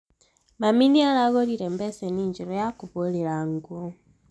Mami nĩaragũrire mbeceni njerũ ya kũhũrĩra nguo